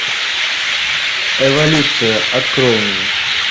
эволюция открой мне